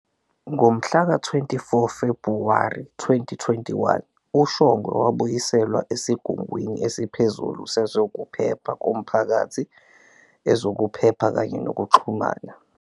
Ngomhlaka-24 Febhuwari 2021, uShongwe wabuyiselwa esigungwini esiphezulu sezokuphepha komphakathi, ezokuphepha kanye nokuxhumana.